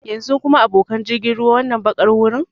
Yanzu kuma, abokan jirgin ruwa, wannan baƙar gurin?